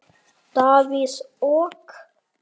Davíð OK.